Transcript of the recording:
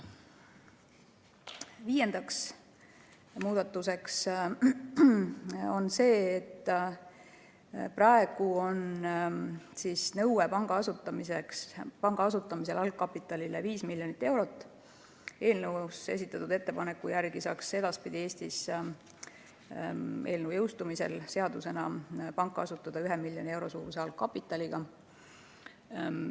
Viiendaks muudatuseks on see, et praegu on panga asutamisel algkapitalinõue 5 miljonit eurot, aga eelnõus esitatud ettepaneku järgi saaks edaspidi Eestis, juhul kui eelnõu seadusena jõustub, panga asutada ka 1 miljoni euro suuruse algkapitaliga.